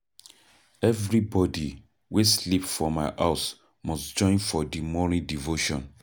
Everybodi wey sleep for my house must join for di morning devotion.